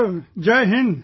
Sir Jai Hind